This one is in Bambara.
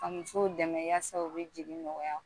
Ka musow dɛmɛ yasa, u bi jigin nɔgɔya.